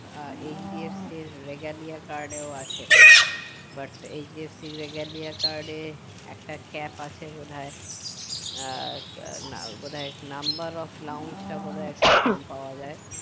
আহ HDFC ইর regalia card এও আছে butHDFC ইর regalia card এ একটা cap আছে বোধয় আহ না বোধয় number of lawns টা বোধয় পাওয়া যাই